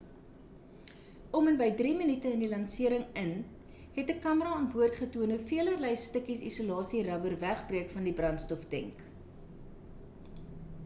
om en by 3 minute in die lansering in het 'n kamera aan boord getoon hoe velerlei stukkies isolasie rubber wegbreek van die brandstoftenk